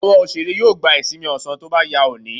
Àwọn òṣèré yóò gba ìsinmi ọ̀sán tó bá yá òní.